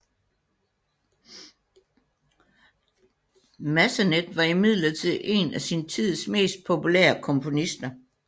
Massenet var imidlertid en af sin tids mest populære komponister